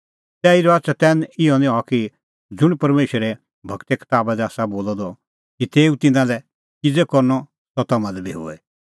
तैही रहा चतैन इहअ निं हआ कि ज़ुंण परमेशरे गूरे कताबा दी आसा बोलअ द कि तेऊ तिन्नां लै किज़ै करनअ सह तम्हां लै बी होए